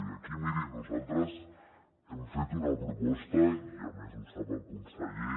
i aquí miri nosaltres hem fet una proposta i a més ho sap el conseller